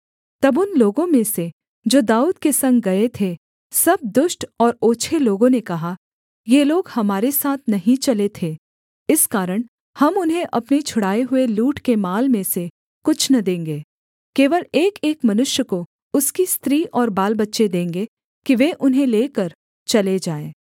तब उन लोगों में से जो दाऊद के संग गए थे सब दुष्ट और ओछे लोगों ने कहा ये लोग हमारे साथ नहीं चले थे इस कारण हम उन्हें अपने छुड़ाए हुए लूट के माल में से कुछ न देंगे केवल एकएक मनुष्य को उसकी स्त्री और बालबच्चे देंगे कि वे उन्हें लेकर चले जाएँ